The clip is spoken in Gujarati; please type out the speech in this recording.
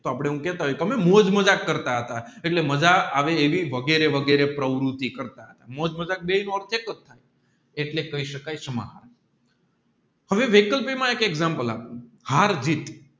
તોહ આપણે એવું કહેતા હોય તમે મોજ મજાક કરતા હતા એટલે મજાક એવી વગેરે વગેરે પ્રવૃત્તિ કરતા હતા એટલે કાઈ શકાયી આવે વેહિકલ એક એક્ષામપ્લે આપું હાર જીત